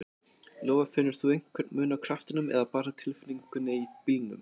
Lóa: Finnur þú einhver mun á kraftinum eða bara tilfinningunni í bílnum?